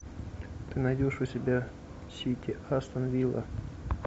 ты найдешь у себя сити астон вилла